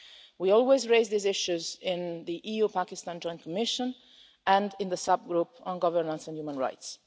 We always raise these issues in the EU-Pakistan Joint Commission and in the subgroup on governance and human rights.